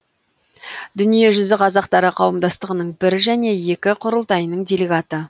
дүниежүзі қазақтары қауымдастығының бір және екі құрылтайының делегаты